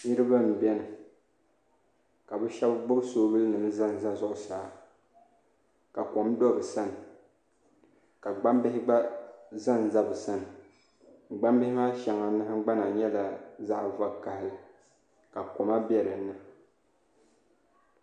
Niraba n biɛni ka bi shab gbubi soobuli nim ʒɛnʒɛ zuɣusaa ka kom do bi sani ka gbambihi gba ʒɛnʒɛ bi sani gbambihi maa shɛŋa nahangbana nyɛla zaɣ vakaɣali ka koma bɛ dinni